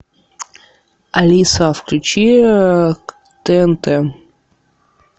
алиса включи тнт